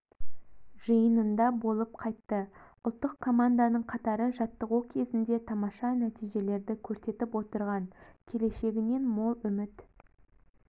жиынында болып қайтты ұлттық команданың қатары жаттығу кезінде тамаша нәтижелерді көрсетіп отырған келешегінен мол үміт